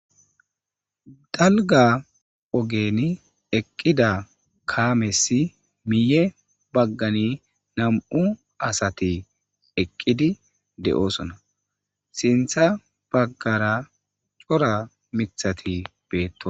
dalga ogeni eqqida kaamesi miye baggani nam7u asati eqqidi de7oosona sintha baggara cora mithati beetto